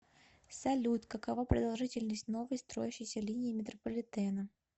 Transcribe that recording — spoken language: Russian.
салют какова продолжительность новой строящейся линии метрополитена